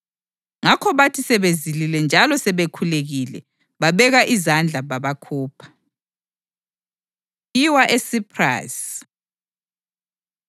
Ngakho bathi sebezilile njalo sebekhulekile, bababeka izandla babakhupha. Kuyiwa ESiphrasi